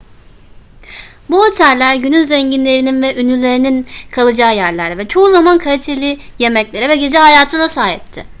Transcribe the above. bu oteller günün zenginlerinin ve ünlülerinin kalacağı yerlerdi ve çoğu zaman kaliteli yemeklere ve gece hayatına sahipti